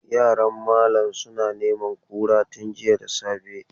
Yaran malam suna neman kura tun jiya da safe.